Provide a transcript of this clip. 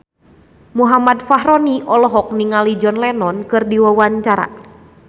Muhammad Fachroni olohok ningali John Lennon keur diwawancara